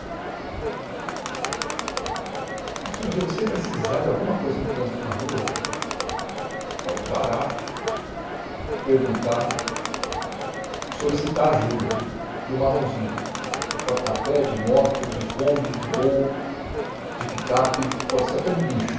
Então, se um dia você precisar de alguma coisa no trânsito, na rua, pode parar, perguntar, solicitar ajuda de um marronzinho, de porta-pé, de moto, de Kombi, de Gol, de picape, pode ser até do guincho.